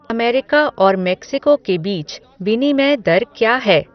America और Mexico के बीच विनिमय दर क्या है